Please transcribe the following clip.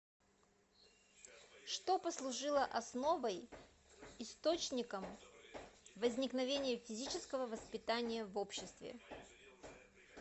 что послужило основой источником возникновения физического воспитания в обществе